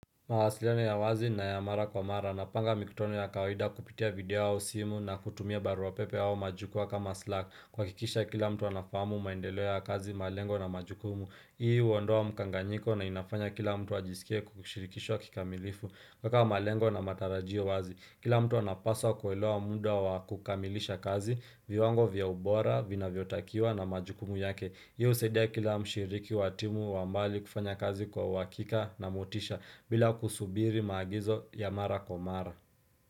Mawasiliano na ya wazi na ya mara kwa mara. Napanga mikutano ya kawaida kupitia video au simu na kutumia barua pepe au majukwa kama slack. Kuhakikisha kila mtu anafamu maendelo ya kazi, malengo na majukumu. Hii huondoa mkanganyiko na inafanya kila mtu ajisikie kushirikishwa kikamilifu. Kueka malengo na matarajio wazi. Kila mtu anapaswa kuelewa muda wa kukamilisha kazi, viwango vya ubora vinavyotakiwa na majukumu yake. Hio husaidia kila mshiriki wa timu wa mbali kufanya kazi kwa uhakika na motisha bila kusubiri maagizo ya mara kwa mara.